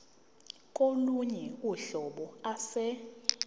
kolunye uhlobo ase